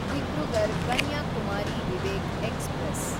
Dibrugarh Kanyakumari Vivek express